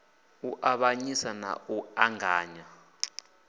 u avhanyisa na u ṱanganya